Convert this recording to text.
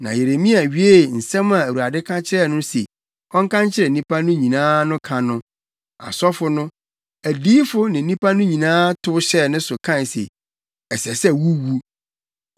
Na Yeremia wiee nsɛm a Awurade ka kyerɛɛ no se ɔnka nkyerɛ nnipa no nyinaa no ka no, asɔfo no, adiyifo ne nnipa no nyinaa tow hyɛɛ ne so kae se, “Ɛsɛ sɛ wuwu!